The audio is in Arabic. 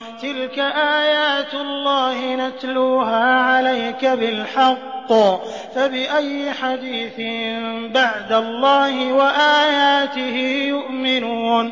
تِلْكَ آيَاتُ اللَّهِ نَتْلُوهَا عَلَيْكَ بِالْحَقِّ ۖ فَبِأَيِّ حَدِيثٍ بَعْدَ اللَّهِ وَآيَاتِهِ يُؤْمِنُونَ